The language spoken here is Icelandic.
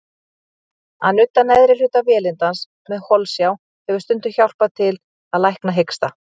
Að nudda neðri hluta vélindans með holsjá hefur stundum hjálpað til að lækna hiksta.